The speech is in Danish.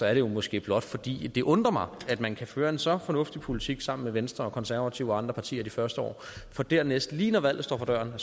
er det måske blot fordi det undrer mig at man kan føre en så fornuftig politik sammen med venstre konservative og andre partier de første år for dernæst lige når valget står for døren